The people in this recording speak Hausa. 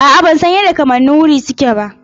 A'a ban san ya kamannin wuri suke ba.